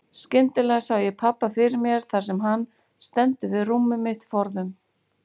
Skyndilega sé ég pabba fyrir mér þar sem hann stendur við rúmið mitt forðum.